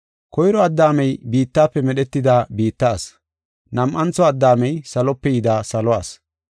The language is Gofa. Koyro Addaamey biittafe medhetida biitta asi; nam7antho Addaamey salope yida salo asi.